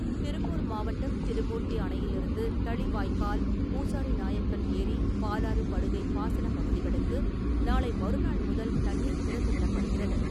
திருப்பூர் மாவட்டம் திருமூர்த்தி அணையிலிருந்து தளி வாய்க்கால், பூசாரி நாயக்கன் ஏரி, பாலாறு படுகை பாசன பகுதிகளுக்கு நாளை மறுநாள் முதல் தண்ணீர் திறந்துவிடப்படுகிறது.